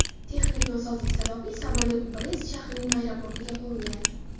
Texnik nosozlik sababli samolyot Brest shahrining aeroportiga qo‘ngan.